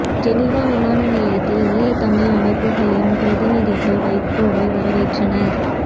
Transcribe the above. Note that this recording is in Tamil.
ஜெனீவா விமான நிலையத்தில் ஈழத் தமிழர் அமைப்புகளின் பிரதிநிதிகள் வைகோவை வரவேற்றனர்